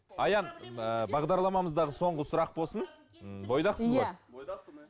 аян ыыы бағдарламамыздағы соңғы сұрақ болсын м бойдақсыз ғой бойдақпын иә